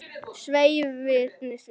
Svei því.